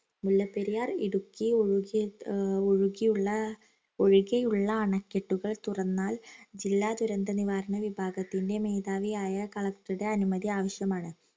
മുല്ലപെരിയാർ ഇടുക്കി ഒഴുകി ഏർ ഒഴുകിയുള്ള ഒഴികെയുള്ള അണക്കെട്ടുകൾ തുറന്നാൽ ജില്ലാ ദുരന്ത നിവാരണ വിഭാഗത്തിൻറെ മേധാവിയായ collector ടെ അനുമതി ആവിശ്യമാണ്